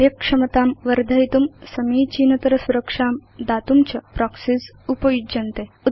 कर्यक्षमतां वर्धयितुं समीचीनतर सुरक्षां दातुं प्रोक्सीज़ उपयुज्यन्ते